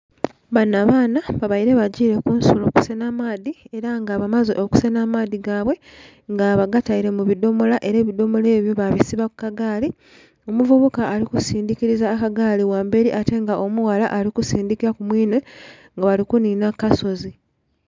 Banho abaana babeire bagile kunsulo kusenha amaadhi era nga bakaze omusanha amaadhi gaibwe nga bagataire mu bidhomola era ebidhomola ebyo ba bisiba ku kagaali. Omuvubuka ali kusindhikiliza akagaali ghamberi ate nga omughala ali kisindhika ku mwiinhe nga bali kunhinha ku kasozi.